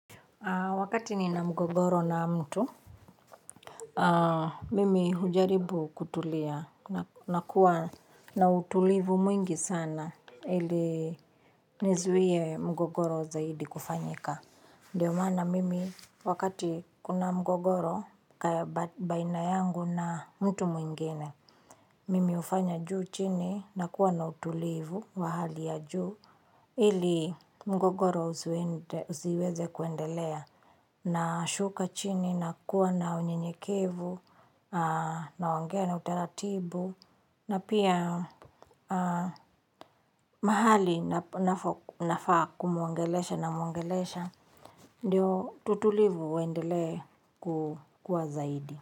Wakati nina mgogoro na mtu, mimi hujaribu kutulia, na kuwa na utulivu mwingi sana, ili nizuie mgogoro zaidi kufanyika. Ndiyo maana mimi, wakati kuna mgogoro, baina yangu na mtu mwingine, mimi hufanya juu chini, nakuwa na utulivu wa hali ya juu, ili mgogoro uziweze kuendelea. Nashuka chini nakuwa na unyenyekevu, naongea na utaratibu, na pia mahali nafaa kumuongelesha namuongelesha, ndio tutulivu uendelee kukua zaidi.